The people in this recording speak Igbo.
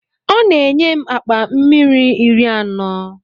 Ọ na-enye m akpa mmiri iri anọ.